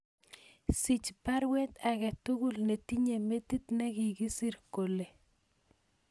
Sich baruet agetugul netinye metit negakisir kole